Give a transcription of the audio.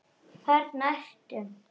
Þarna ertu!